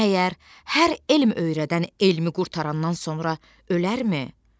Məyər hər elm öyrədən elmi qurtarandan sonra ölərmi?